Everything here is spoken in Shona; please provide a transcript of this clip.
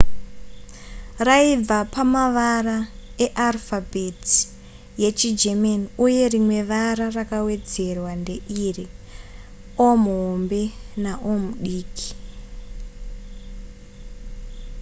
raibva pamavara earufabheti yechigerman uye rimwe vara rakawedzerwa ndeiri: o/o